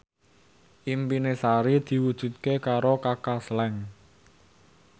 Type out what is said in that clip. impine Sari diwujudke karo Kaka Slank